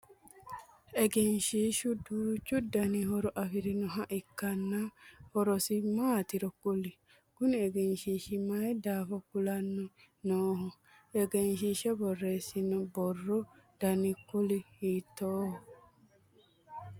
Egenshiishu duuchu Danni horo afirinnoha ikanna horosi maatiro kuli? Kunni egenshiishi mayi daafo kulanni Nooho? Egenshiisha boreesinoonni boro danni kuuli hiittooho?